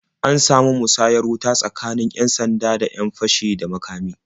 An samu musayar wuta tsakanin 'yan-sanda da 'yan fashi da makami.